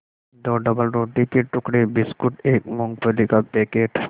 दो डबलरोटी के टुकड़े बिस्कुट एक मूँगफली का पैकेट